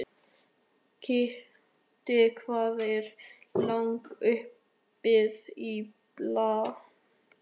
Kiddi, hvað er lengi opið í Blómaborg?